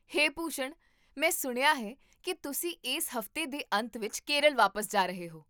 ਹੇ ਭੂਸ਼ਣ, ਮੈਂ ਸੁਣਿਆ ਹੈ ਕੀ ਤੁਸੀਂ ਇਸ ਹਫ਼ਤੇ ਦੇ ਅੰਤ ਵਿੱਚ ਕੇਰਲ ਵਾਪਸ ਜਾ ਰਹੇ ਹੋ